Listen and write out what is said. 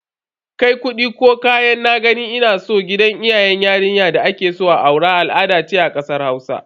Kai kudi ko kayan "na gani ina so" gidan iyayen yarinya da akeso a aura al'ada ce a kasar Hausa.